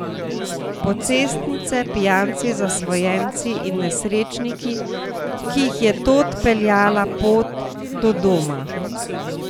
Pocestnice, pijanci, zasvojenci in nesrečniki, ki jih je tod peljala pot do doma.